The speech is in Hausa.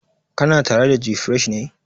Kana tare da gfresh ne?